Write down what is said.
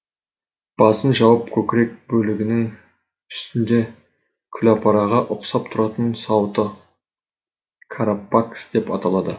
басын жауып көкірек бөлігінің үстінде күлапараға ұқсап тұратын сауыты карапакс деп аталады